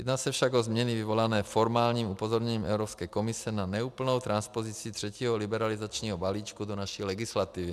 Jedná se však o změny vyvolané formálním upozorněním Evropské komise na neúplnou transpozici třetího liberalizačního balíčku do naší legislativy.